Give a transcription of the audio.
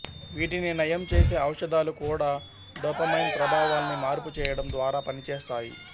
వీటిని నయం చేసే ఔషధాలు కూడా డోపమైన్ ప్రభావాల్ని మార్పు చేయడం ద్వారా పనిచేస్తాయి